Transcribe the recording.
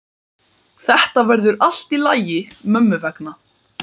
Þetta verður allt í lagi mömmu vegna.